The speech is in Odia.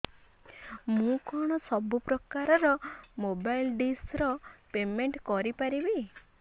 ମୁ କଣ ସବୁ ପ୍ରକାର ର ମୋବାଇଲ୍ ଡିସ୍ ର ପେମେଣ୍ଟ କରି ପାରିବି